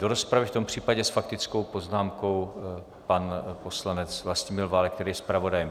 Do rozpravy, v tom případě s faktickou poznámkou pan poslanec Vlastimil Válek, který je zpravodajem.